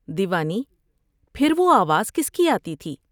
دیوانی پھر وہ آواز کس کی آتی تھی ۔